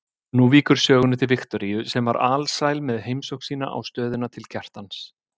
Nú víkur sögunni til Viktoríu sem var alsæl með heimsókn sína á stöðina til Kjartans.